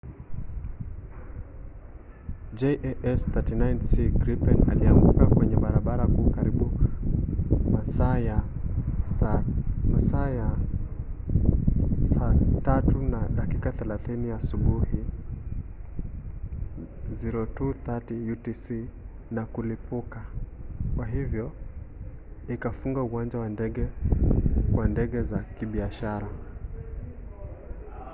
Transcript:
jas 39c gripen ilianguka kwenye barabara kuu karibu masaa ya 9:30 asubuhi 0230 utc na kulipuka kwa hivyo ikafunga uwanja wa ndege kwa ndege za kibiashara